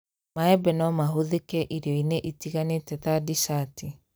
Maembe no mahũthĩke irio-inĩ itiganĩte ta dicati